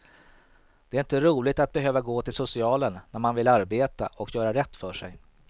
Det är inte roligt att behöva gå till socialen när man vill arbeta och göra rätt för sig.